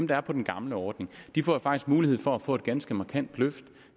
der er på den gamle ordning jo faktisk får mulighed for at få et ganske markant løft